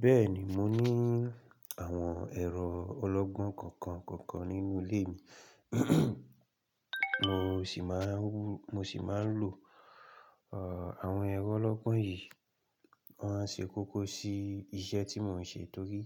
Béèni mo ní àwọn ẹ̀rọ ọlọ́gbọ́n kọ̀ọ̀kan kọ̀ọ̀kan nínú ilé mi. Mo sì máa ń rú, mo sì máa ń lò àwọn ẹ̀rọ ọlọ́gbọ́n yìí. Wọ́n á ṣe kókó sí iṣẹ́ tí mò ń ṣe torí